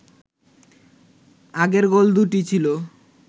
আগের গোল দুটো ছিল